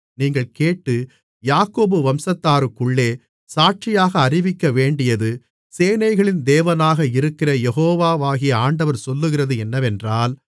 நீங்கள் கேட்டு யாக்கோபு வம்சத்தாருக்குள்ளே சாட்சியாக அறிவிக்கவேண்டியது சேனைகளின் தேவனாக இருக்கிற யெகோவாகிய ஆண்டவர் சொல்லுகிறது என்னவென்றால்